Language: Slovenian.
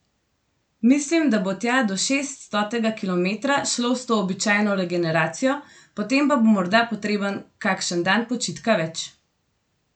Mislim, da bo tja do šeststotega kilometra šlo s to običajno regeneracijo, potem pa bo morda potreben kakšen dan počitka več.